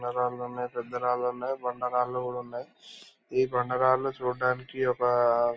న రాళ్లున్నాయి పెద్ద రాళ్లున్నాయి. ఈ బాండ రాళ్ళూ కూడా ఉన్నాయ్.ఈ బండరాళ్లు చూడ్డానికి ఒక --